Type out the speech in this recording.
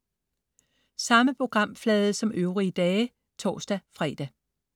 Samme programflade som øvrige dage (tors-fre)